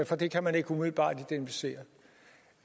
for det kan man ikke umiddelbart identificere